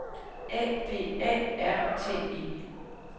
A P A R T E